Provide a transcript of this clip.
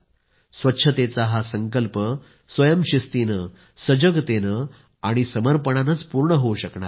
स्वच्छतेचा हा संकल्प स्वयंशिस्तीनं सजगतेनं आणि समर्पणानंच पूर्ण होवू शकणार आहे